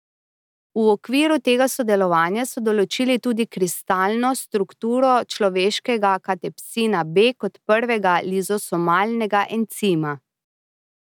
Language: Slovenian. V okviru tega sodelovanja so določili tudi kristalno strukturo človeškega katepsina B kot prvega lizosomalnega encima.